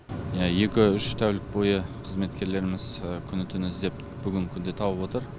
екі үш тәулік бойы қызметкерлеріміз күні түні іздеп бүгінгі күнде тауып отыр